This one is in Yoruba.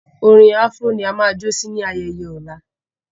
Orin afro ní a má jo sí ní ayaye ọla